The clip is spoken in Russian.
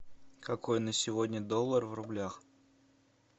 какой на сегодня доллар в рублях